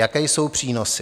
Jaké jsou přínosy?